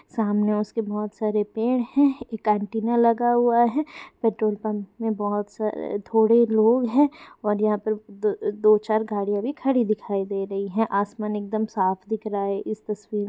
सामने उसके पेड़ है एक एंटीना लगा हुआ है पेट्रोल पंप --